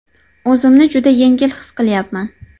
O‘zimni juda yengil his qilyapman”.